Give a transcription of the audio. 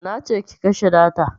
Nace ki kashe data